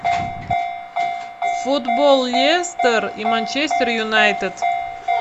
футбол лестер и манчестер юнайтед